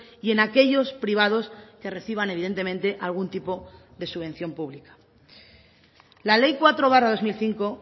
y en aquellos privados que reciban evidentemente algún tipo de subvención pública la ley cuatro barra dos mil cinco